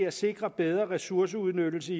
at sikre bedre ressourceudnyttelse